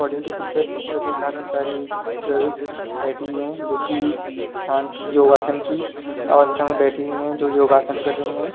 Picture picture में काफी सारी गर्ल्स बैठी हुए हैं जोकि शांत योग आसान की अवस्था में बैठी हुए हैं जो योग आसान कर रही हैं।